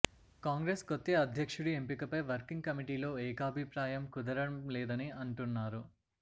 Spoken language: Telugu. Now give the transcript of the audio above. కాంగ్రెస్ కొత్త అధ్యక్షుడి ఎంపికపై వర్కింగ్ కమిటీలో ఏకాభిప్రాయం కుదరటం లేదని అంటున్నారు